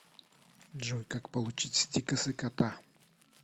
джой как получить стикосы кота